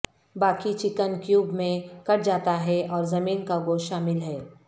باقی chicken cube میں کٹ جاتا ہے اور زمین کا گوشت شامل ہے